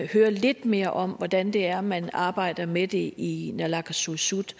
høre lidt mere om hvordan det er man arbejder med det i naalakkersuisut